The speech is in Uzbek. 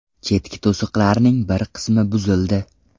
Chetki to‘siqlarning bir qismi buzildi.